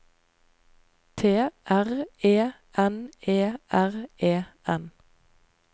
T R E N E R E N